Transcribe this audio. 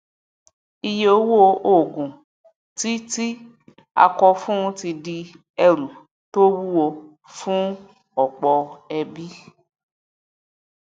iye owó òògùn tí tí a kọ fún ní ti di ẹrù tó wuwo fún ọpọ ẹbí